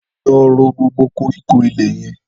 Lọ ró gbógbó kórikó ilè yèn